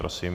Prosím.